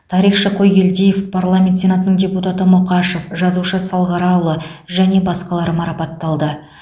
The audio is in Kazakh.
тарихшы қойгелдиев парламент сенатының депутаты мұқашев жазушы салғараұлы және басқалар марапатталды